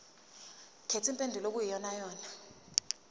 khetha impendulo okuyiyona